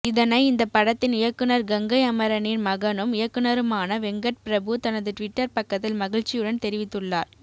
இதனை இந்த படத்தின் இயக்குனர் கங்கை அமரனின் மகனும் இயக்குனருமான வெங்கட்பிரபு தனது ட்விட்டர் பக்கத்தில் மகிழ்ச்சியுடன் தெரிவித்துள்ளார்